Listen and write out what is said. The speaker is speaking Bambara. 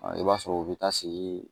i b'a sɔrɔ u bɛ taa sei